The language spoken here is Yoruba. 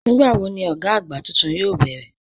Nígbàwọ̀ ni ọ̀gá agbá túntún yoo bẹ̀rẹ̀?